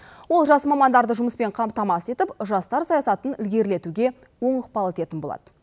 ол жас мамандарды жұмыспен қамтамасыз етіп жастар саясатын ілгерілетуге оң ықпал ететін болады